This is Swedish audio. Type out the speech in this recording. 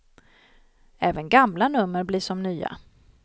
Även gamla nummer blir som nya.